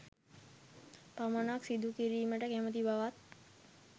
පමණක් සිදුකිරීමට කැමති බවත්